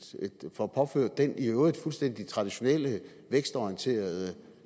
får påført den i øvrigt fuldstændig traditionelle vækstorienterede